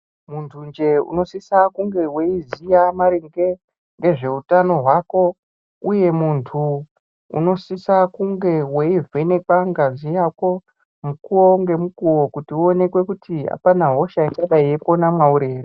Muntunje unosisa unge weizivya maringe ngezvehutano hwako. Uye muntu unosisa kunge weivhenekwa ngazi yako mukuwo ngemukuwo kuti muonekwe kuti apana hosha ichidai yeipona mwauri ere.